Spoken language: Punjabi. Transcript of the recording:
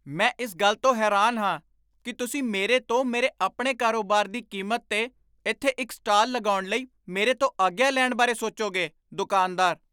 ਮੈਂ ਇਸ ਗੱਲ ਤੋਂ ਹੈਰਾਨ ਹਾਂ ਕੀ ਤੁਸੀਂ ਮੇਰੇ ਤੋਂ ਮੇਰੇ ਆਪਣੇ ਕਾਰੋਬਾਰ ਦੀ ਕੀਮਤ 'ਤੇ ਇੱਥੇ ਇੱਕ ਸਟਾਲ ਲਗਾਉਣ ਲਈ ਮੇਰੇ ਤੋਂ ਆਗਿਆ ਲੈਣ ਬਾਰੇ ਸੋਚੋਗੇ ਦੁਕਾਨਦਾਰ